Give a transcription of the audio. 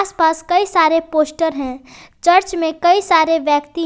आस पास कई सारे पोस्टर है चर्च में कई सारे व्यक्ति हैं।